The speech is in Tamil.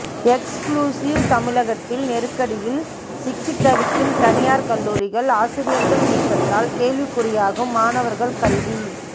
எக்ஸ்குளுசிவ் தமிழகத்தில் நெருக்கடியில் சிக்கித் தவிக்கும் தனியார் கல்லூரிகள் ஆசிரியர்கள் நீக்கத்தால் கேள்விக்குறியாகும் மாணவர்கள் கல்வி